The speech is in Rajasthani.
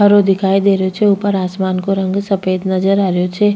हरो दिखाई दे रही छे ऊपर आसमान को रंग सफेद नजर आ रो छे।